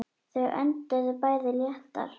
Þau önduðu bæði léttar.